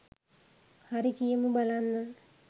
හරි කියමු බලන්න